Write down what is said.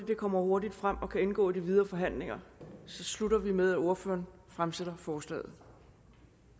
det kommer hurtigt frem og kan indgå i de videre forhandlinger slutter vi med at ordføreren fremsætter forslaget